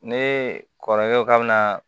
Ne kɔrɔkɛ ko k'a bɛna